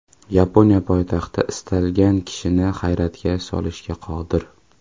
Yaponiya poytaxti istalgan kishini hayratga solishga qodir.